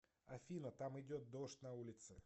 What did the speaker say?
афина там идет дождь на улице